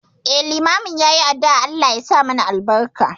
Eh, limamin yayi addu'ar Allah yasa mana albarka.